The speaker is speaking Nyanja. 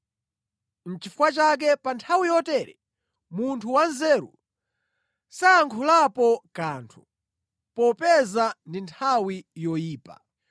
Nʼchifukwa chake pa nthawi yotere munthu wanzeru sayankhulapo kanthu, popeza ndi nthawi yoyipa.